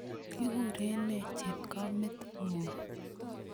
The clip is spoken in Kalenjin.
kikurenee chepkomet ngung?